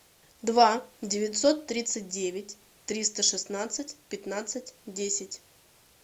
два девятьсот тридцать девять триста шестнадцать пятнадцать десять